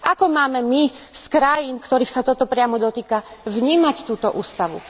Ako máme my z krajín, ktorých sa toto priamo dotýka, vnímať túto ústavu.